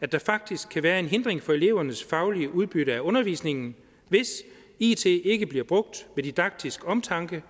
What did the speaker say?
at der faktisk kan være en hindring for elevernes faglige udbytte af undervisningen hvis it ikke bliver brugt med didaktisk omtanke